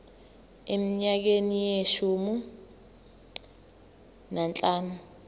eminyakeni eyishumi nanhlanu